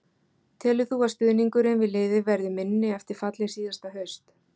Telur þú að stuðningurinn við liðið verði minni eftir fallið síðasta haust?